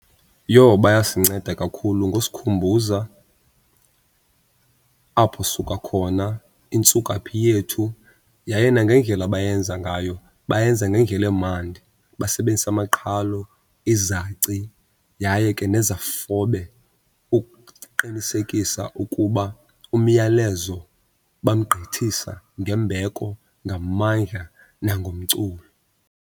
Yho, bayasinceda kakhulu ngosikhumbuza apho sisuka khona, intsukaphi yethu. Yaye nangendlela abayenza ngayo bayenza ngendlela emandi basebenzisa amaqhalo, izaci yaye ke nezafobe ukuqinisekisa ukuba umyalezo bamgqithisa ngembeko, ngamandla, nangomculo.